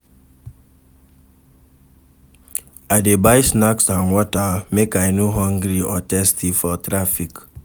I dey buy snacks and water, make I no hungry or thirsty for traffic